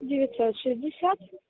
девятьсот шестьдесят